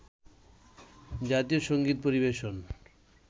জাতীয় সঙ্গীত পরিবেশন